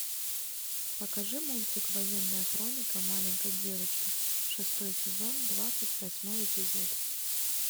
покажи мультик военная хроника маленькой девочки шестой сезон двадцать восьмой эпизод